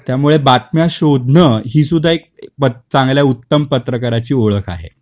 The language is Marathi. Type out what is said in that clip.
त्या मुळे बातम्या शोधन ही सुद्धा एक चांगल्या उत्तम पत्रकाराची ओळख आहे.